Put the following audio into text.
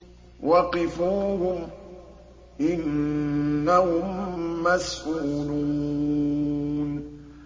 وَقِفُوهُمْ ۖ إِنَّهُم مَّسْئُولُونَ